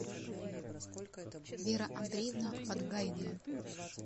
вера андреевна подгайная